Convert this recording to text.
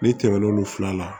N'i tɛmɛ n'olu fila la